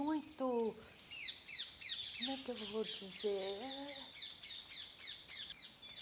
muito... como é que eu vou dizer eh?